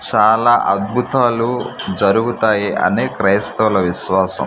చాలా అద్భుతాలు జరుగుతాయి అని క్రైస్తవులు విశ్వాసం.